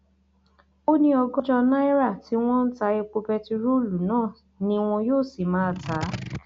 ó ní ọgọjọ náírà tí wọn ń ta epo bẹntiróòlù náà ni wọn yóò sì máa tà á